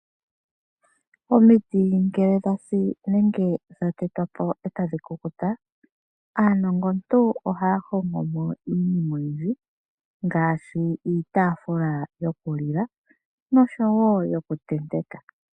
Omitit ngele dhasi nenge dha tetwa po ee ta dhi kukuta: Aanongo ntu oha ya hongo mo iinima oyindji, ngaashi iitaafula yokulila nosho woo yokuntenteka.